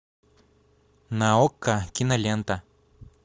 на окко кинолента